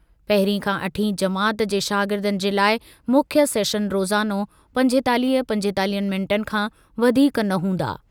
पहिरीं खां अठीं जमात जे शागिर्दनि जे लाइ मुख्य सेशन रोज़ानो पंजेतालीह-पंजेतालीह मिंटनि खां वधीक न हूंदा।